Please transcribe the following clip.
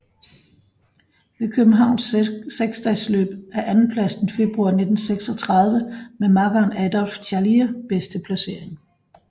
Ved Københavns seksdagesløb er andenpladsen i februar 1936 med makkeren Adolphe Charlier bedste placering